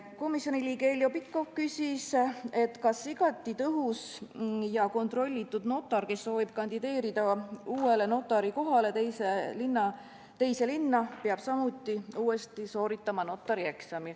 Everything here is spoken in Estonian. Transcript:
Komisjoni liige Heljo Pikhof küsis, kas igati tõhus ja kontrollitud notar, kes soovib kandideerida uuele notari kohale teise linna, peab samuti uuesti sooritama notarieksami.